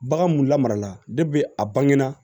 Bagan mun lamarala a bange na